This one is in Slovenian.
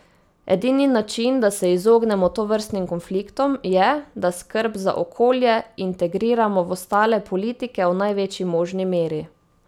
Edini način, da se izognemo tovrstnim konfliktom, je, da skrb za okolje integriramo v ostale politike v največji možni meri.